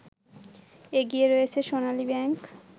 এগিয়ে রয়েছে সোনালী ব্যাংক